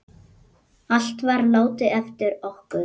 Allt var látið eftir okkur.